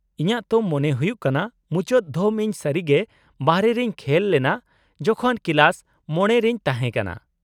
-ᱤᱧᱟᱹᱜ ᱛᱚ ᱢᱚᱱᱮ ᱦᱩᱭᱩᱜ ᱠᱟᱱᱟ ᱢᱩᱪᱟᱹᱫ ᱫᱷᱚᱢ ᱤᱧ ᱥᱟᱹᱨᱤᱜᱮ ᱵᱟᱨᱦᱮ ᱨᱮᱧ ᱠᱷᱮᱞ ᱞᱮᱱᱟ ᱡᱚᱠᱷᱚᱱ ᱠᱮᱞᱟᱥ ᱕ᱼ ᱨᱮᱧ ᱛᱟᱦᱮᱸ ᱠᱟᱱᱟ ᱾